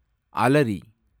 அலரி